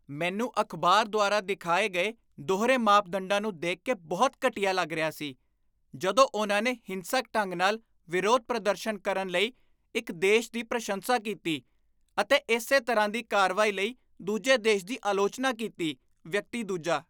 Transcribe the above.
ਮੈਨੂੰ ਅਖ਼ਬਾਰ ਦੁਆਰਾ ਦਿਖਾਏ ਗਏ ਦੋਹਰੇ ਮਾਪਦੰਡਾਂ ਨੂੰ ਦੇਖ ਕੇ ਬਹੁਤ ਘਟੀਆ ਲੱਗ ਰਿਹਾ ਸੀ ਜਦੋਂ ਉਨ੍ਹਾਂ ਨੇ ਹਿੰਸਕ ਢੰਗ ਨਾਲ ਵਿਰੋਧ ਪ੍ਰਦਰਸ਼ਨ ਕਰਨ ਲਈ ਇੱਕ ਦੇਸ਼ ਦੀ ਪ੍ਰਸ਼ੰਸਾ ਕੀਤੀ ਅਤੇ ਇਸੇ ਤਰ੍ਹਾਂ ਦੀ ਕਾਰਵਾਈ ਲਈ ਦੂਜੇ ਦੇਸ਼ ਦੀ ਆਲੋਚਨਾ ਕੀਤੀ ਵਿਅਕਤੀ ਦੂਜਾ